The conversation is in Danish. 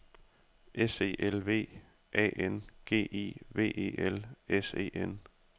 S E L V A N G I V E L S E N